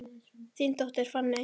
Þín dóttir, Fanney.